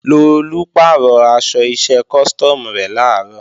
Lolú pàrọ̀ aṣọ iṣẹ́ custom rẹ̀ làárọ̀